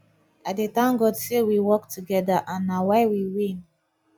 i dey thank god say we work together and na why we win